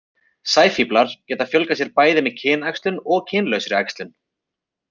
Sæfíflar geta fjölgað sér bæði með kynæxlun og kynlausri æxlun.